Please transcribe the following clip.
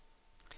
ændr